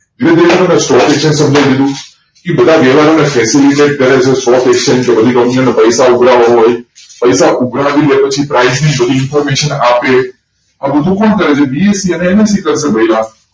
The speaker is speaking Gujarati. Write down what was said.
ધીરે ધીરે તમને stock exchange સમજાવી દીધું કે બધા વેહવારનું રે છે stock exchange કે બધી company ના પૈસા ઉઘરાવા હોય પૈસા ઉઘરાવી લે પછી prize ની information આપે આ બધું કોણ રે છે BSE અને NSE કરશે ભૈલા